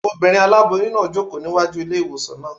Obìnrin aláboyún náà ń jòkó ní wájú ilé-ìwòsàn náà